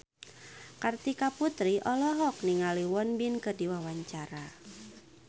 Kartika Putri olohok ningali Won Bin keur diwawancara